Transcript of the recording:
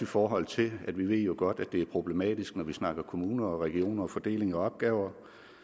forhold til at vi jo godt ved at det er problematisk når vi snakker kommuner og regioner og fordelinger af opgaver